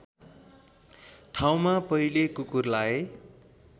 ठाउँमा पहिले कुकुरलाई